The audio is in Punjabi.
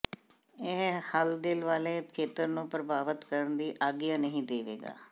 ਇਹ ਹੱਲ ਦਿਲ ਵਾਲੇ ਖੇਤਰ ਨੂੰ ਪ੍ਰਭਾਵਤ ਕਰਨ ਦੀ ਆਗਿਆ ਨਹੀਂ ਦੇਵੇਗਾ